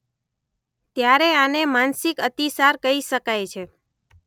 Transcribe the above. ત્યારે આને માનસિક અતિસાર કહી શકાય છે.